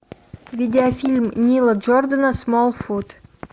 видеофильм нила джордана смолфут